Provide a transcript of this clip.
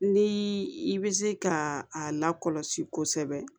Ni i bɛ se ka a lakɔlɔsi kosɛbɛ